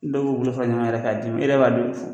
Dɔw b'u bolo ɲɔgɔn yɛrɛ k'a di ma e yɛrɛ